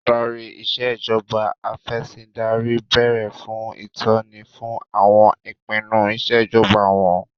Adarí Ìṣèjọba Af'ẹ̀sìndarí béèrè fún ìtọ́ni fún àwọn ìpinnu Ìṣèjọba wọn